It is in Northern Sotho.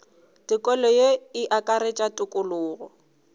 tokelo ye e akaretša tokologo